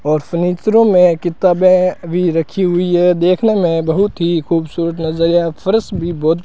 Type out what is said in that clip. और सुनित्रों में किताबें अभी रखी हुई है देखने में बहुत ही खूबसूरत नजर या फरश भी बहोत --